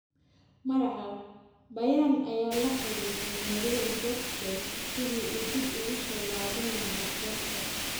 (Marca) Bayern ayaa la xiriirtay Mario Gotze sidii uu dib ugu soo laaban lahaa kooxda.